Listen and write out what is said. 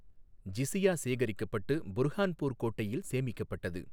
ஜிசியா சேகரிக்கப்பட்டு புர்ஹான்பூர் கோட்டையில் சேமிக்கப்பட்டது.